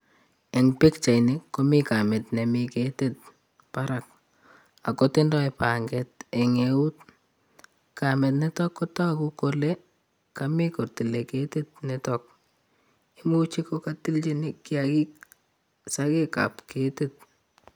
Eng' pikchaitni komi kamit nemi ketit barak akotindoi panget ing' eut. kamit niitok kotoku kolekami kotile ketit nitok. imuchi kokatilchini kiagik sakek ap ketit